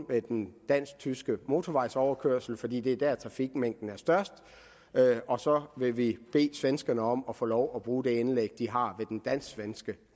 ved den dansk tyske motorvejsoverkørsel fordi det er der trafikmængden er størst og så vil vi bede svenskerne om at få lov til at bruge det anlæg de har ved den dansk svenske